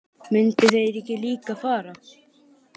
Myndu þeir ekki líka fara?